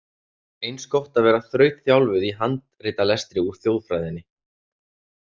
Eins gott að vera þrautþjálfuð í handritalestri úr þjóðfræðinni.